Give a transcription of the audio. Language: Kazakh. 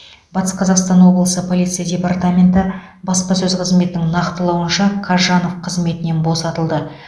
батыс қазақстан облысы полиция департаменті баспасөз қызметінің нақтылауынша қазжанов қызметінен босатылды